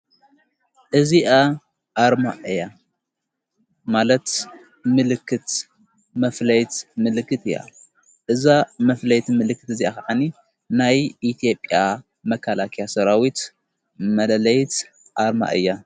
እዚኣ ኣርማ እያ ማለት ምልክት መፍለይት ምልክት እያ እዛ መፍለይት ምልክት እዚ ኸዓኒ ናይ ኢትዮጵያ መካላክያ ሠራዊት መደለይት ኣርማ እያ::